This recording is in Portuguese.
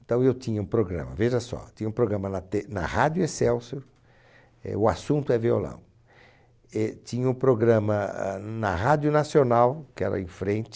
Então eu tinha um programa, veja só, tinha um programa na Te na Rádio Excelsior, eh, o assunto é violão, eh, tinha o programa ahn na Rádio Nacional, que era em frente,